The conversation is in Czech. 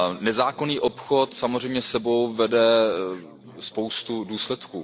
Nezákonný obchod samozřejmě sebou vede spoustu důsledků.